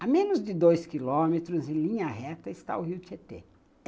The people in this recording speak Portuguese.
Há menos de dois quilômetros e linha reta está o rio Tietê.